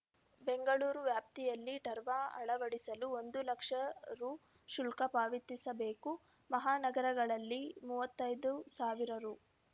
ಬೆಂಗಳೂರು ವ್ಯಾಪ್ತಿಯಲ್ಲಿ ಟರ್ವ ಅಳವಡಿಸಲು ಒಂದು ಲಕ್ಷ ರು ಶುಲ್ಕ ಪಾವತಿಸಬೇಕು ಮಹಾನಗರಗಳಲ್ಲಿ ಮೂವತ್ತೈದು ಸಾವಿರ ರು